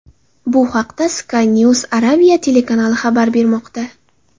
Bu haqda Sky News Arabia telekanali xabar bermoqda .